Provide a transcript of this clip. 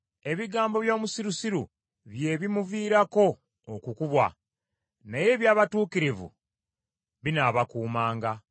Ebigambo by’omusirusiru bye bimuviirako okukubwa, naye eby’abatuukirivu binaabakuumanga.